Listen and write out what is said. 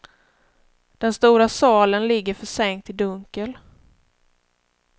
Den stora salen ligger försänkt i dunkel.